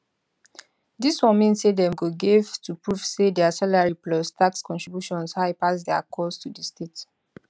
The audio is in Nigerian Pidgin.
dis one mean say dem go gave to prove say dia salary plus tax contributions high pass dia costs to di state